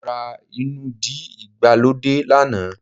Mó rá inúdí ìgbàlódé lánàá